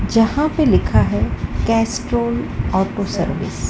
जहां पे लिखा है कैस्ट्रॉल ऑटो सर्विस ।